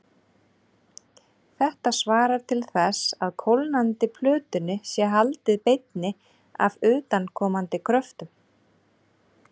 Þetta svarar til þess að kólnandi plötunni sé haldið beinni af utanaðkomandi kröftum.